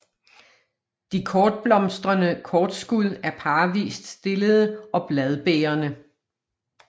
De blomstrende kortskud er parvist stillede og bladbærende